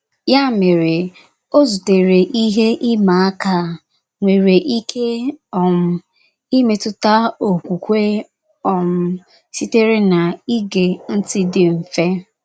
Ya mere, o zutere ihe ịmá aka a, nwere ike um mmetụta okwukwe um sitere n'ige ntị dị mfe.